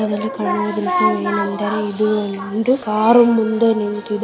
ಕಾಣಿಸುವುದೇನೆಂದರೆ ಇದು ಒಂದು ಕಾರ್ ಮುಂದೆ ನಿಂತಿದೆ.